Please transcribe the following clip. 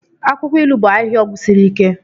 Akwụkwọ ilu bụ ahịhịa ọgwụ siri ike.